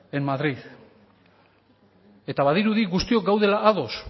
en madrid eta badirudi guztiok gaudela ados